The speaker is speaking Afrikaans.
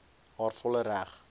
haar volle reg